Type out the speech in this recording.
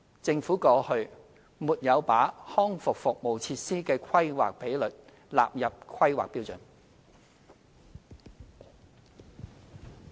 政府過去沒有把康復服務設施的規劃比率納入《規劃標準》。